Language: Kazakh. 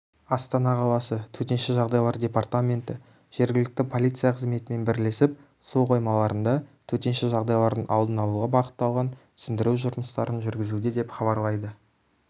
астана қаласы төтенше жағдайлар департаменті жергілікті полиция қызметімен бірлесіп су қоймаларында төтенше жағдайлардың алдын алуға бағытталған түсіндіру жұмыстарын жүргізуде деп хабарлайды